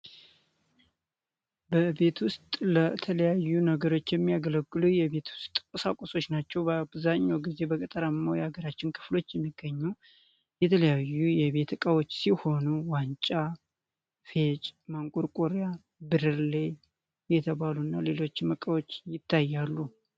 በቤት ውስጥ ለተለያዩ ነገሮች የሚያገለግሉ የቤቶች ዕቃዎች ናቸው። በአብዛኛው በገጠር አካባቢዎች የሚገኙ የተለያዩ የቤት እቃዎች ሲሆኑ ዋንጫ፣ ፌጭ፣ ማንቆርቆሪያና፣ ብርሌ የተባሉና ሌሎችም እቃዎች ይታያሉ።